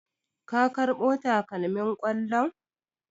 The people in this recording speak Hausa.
Ka karbo takalmin kollon?